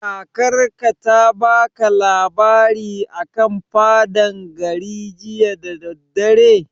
Kakar ka ta baka labari a kan faɗan gari jiya da daddare?